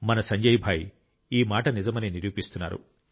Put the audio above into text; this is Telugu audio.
మన సంజయ్ భాయ్ ఈ మాట నిజమని నిరూపిస్తున్నారు